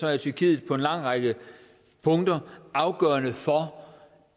er tyrkiet på en lang række punkter afgørende for